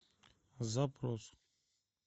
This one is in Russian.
запрос